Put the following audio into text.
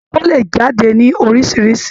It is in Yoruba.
Èpò le jáde ní oríṣiríṣi.